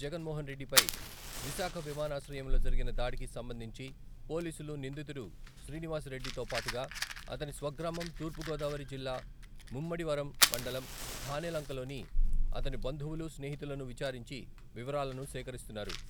జగన్మోన్రెడ్డిపై విశాఖ విమానాశ్రయంలో జరిగిన దాడికి సంబంధించి పోలీసులు నిందితుడు శ్రీనివాస్ రెడ్డితోపాటుగా అతని స్వగ్రామం తూర్పుగోదావరి జిల్లా ముమ్మిడివరం మండలం ఠానేలంకలోని అతని బంధువులు, స్నేహితులను విచారించి వివరాలను సేకరిస్తున్నారు.